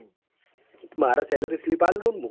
મારે salary slip આલ દે તુંન